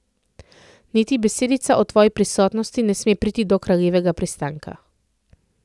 Niti besedica o tvoji prisotnosti ne sme priti do Kraljevega pristanka.